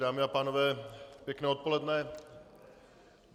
Dámy a pánové, pěkné odpoledne.